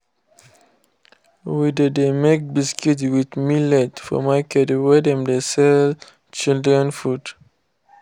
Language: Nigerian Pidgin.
we de de make biscuits with millet for markets wey dem de sell children food.